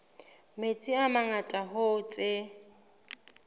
metsi a mangata hoo tse